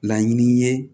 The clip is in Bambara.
Laɲini ye